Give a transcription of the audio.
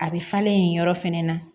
A bɛ falen yen yɔrɔ fɛnɛ na